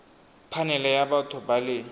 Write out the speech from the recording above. phanele ya batho ba le